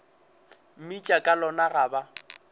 mmitša ka lona ga ba